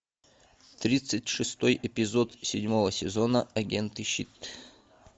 тридцать шестой эпизод седьмого сезона агенты щит